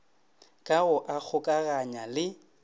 ka go a kgokaganya le